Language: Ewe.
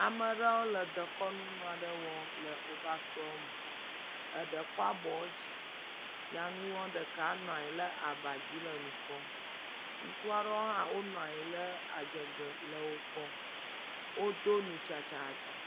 Ame aɖewo le dekɔnu nu wɔm le woƒe aƒewo me. Eɖe kua bɔ yi dzi. Nyanua ɖeka nɔ aba dzi le nu kpɔm. Ŋutsu aɖewo hã nɔ anyi le adzɔge le wokpɔm. Wodo nu tsatsaatsa.